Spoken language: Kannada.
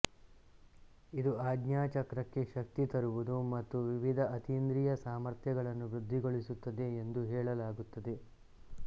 ಇದು ಆಜ್ಞಾಚಕ್ರಕ್ಕೆ ಶಕ್ತಿ ತರುವುದು ಮತ್ತು ವಿವಿಧ ಅತೀಂದ್ರಿಯ ಸಾಮರ್ಥ್ಯಗಳನ್ನು ವೃದ್ಧಿಗೊಳಿಸುತ್ತದೆ ಎಂದು ಹೇಳಲಾಗುತ್ತದೆ